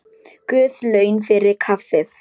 Guð laun fyrir kaffið.